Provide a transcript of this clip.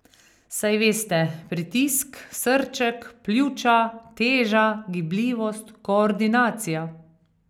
Saj veste, pritisk, srček, pljuča, teža, gibljivost, koordinacija.